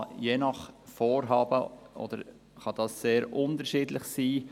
Je nach Vorhaben kann dieser sehr unterschiedlich sein.